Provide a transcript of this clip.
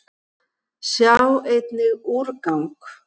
Sjá einnig: úrgang